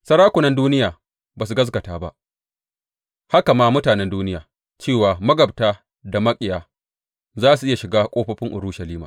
Sarakunan duniya ba su gaskata ba, haka ma mutanen duniya, cewa magabta da maƙiya za su iya shiga ƙofofin Urushalima.